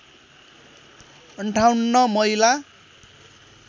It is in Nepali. ५८ महिला